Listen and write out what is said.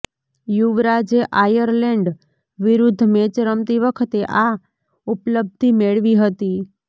યુવરાજે Ireland વિરુદ્ધ match રમતી વખતે આ ઉપલબ્ધી મેળવી હતી